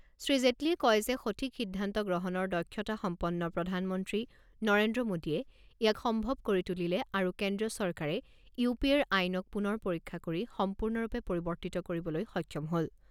শ্ৰী জেটলীয়ে কয় যে সঠিক সিদ্ধান্ত গ্ৰহণৰ দক্ষতা সম্পন্ন প্ৰধানমন্ত্ৰী নৰেন্দ্ৰ মোডীয়ে ইয়াক সম্ভৱ কৰি তুলিলে আৰু কেন্দ্ৰীয় চৰকাৰে ইউ পি এৰ আইনক পুনৰ পৰীক্ষা কৰি সম্পূৰ্ণৰূপে পৰিৱৰ্তিত কৰিবলৈ সক্ষম হ'ল।